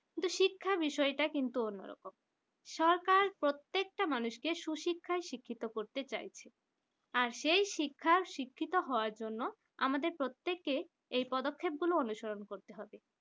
কিন্তু শিক্ষা বিষয়টা কিন্তু অন্যরকম সরকার প্রত্যেকটা মানুষকে সুশিক্ষায় শিক্ষিত করতে চাইছে আর সেই শিক্ষার শিক্ষিত হওয়ার জন্য আমাদের প্রত্যেকের এই পদক্ষেপ গুলো অনুসরণ করতে হবে